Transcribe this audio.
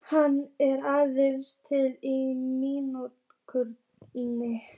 Hann er aðeins til í minningunni.